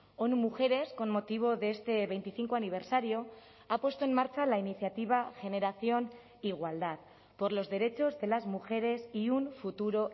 onu mujeres con motivo de este veinticinco aniversario ha puesto en marcha la iniciativa generación igualdad por los derechos de las mujeres y un futuro